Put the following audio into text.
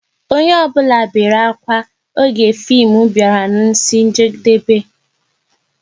Onye ọ bụla bere ákwà oge fim bịara n'isi njedebe